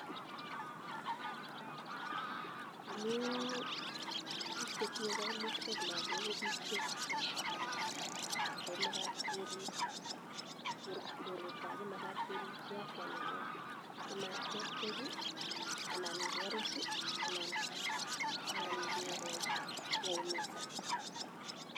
Amu pik che tinye kaimutik ak lakok ko pik che special, ako makat keripchi afya nenywan simat ketchech anan kerus anan keumisan.